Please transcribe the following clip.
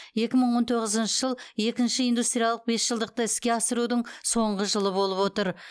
екі мың он тоғызыншы жыл екінші индустриялық бесжылдықты іске асырудың соңғы жылы болып отыр